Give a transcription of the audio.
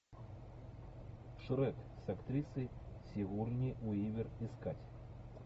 шрек с актрисой сигурни уивер искать